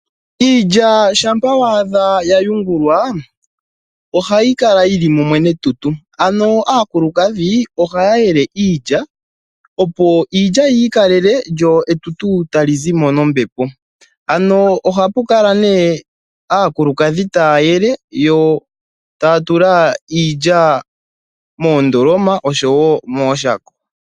Iilya shampa wa adha ya yungulwa ohayi kala yili mumwe netutu ano aakulukadhi ohaya yele iilya opo iilya yi ikalele lyo etutu tali zimo nombepo. Ano ohapu kala ne aakulukadhi taya yele yo taya tula iilya moondoloma oshowo mooshako.